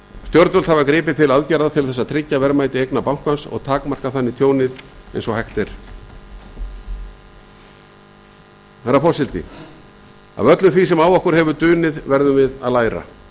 stjórnvöld hafa gripið til aðgerða til þess að tryggja verðmæti eigna bankans og takmarka þannig tjónið eins og hægt er hæstvirtur forseti af öllu því sem á okkur hefur dunið verðum við að læra